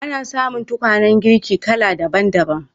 Ana samun tukwanen girki kala daban-daban.